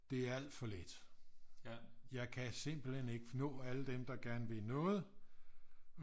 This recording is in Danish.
Det er alt for lidt jeg kan simpelthen ikke nå alle dem der gerne vil noget